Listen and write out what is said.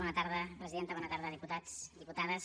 bona tarda presidenta bona tarda diputats diputades